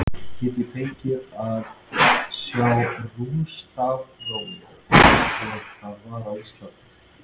Get ég fengið að sjá rúnastafrófið eins og það var á Íslandi?